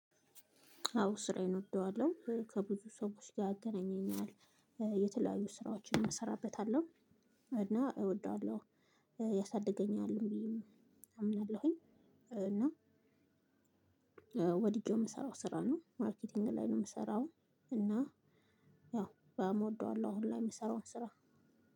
አው ስራዬን እወደዋለሁ ከብዙ ሰዎች ጋር ያገናኘኛል የተለያዩ ስራዎችን እሰራበታለሁ። እና እወደዋለሁ። ያሳድገኛል ብዬም አምናለሁኝ። እና ወድጄው የምሰራው ስራ ነው ማርኬቲንግ ላይ ነው የምሰራው። እና በጣም እወደዋለሁ አሁን ላይ የሚሰራውን ስራ።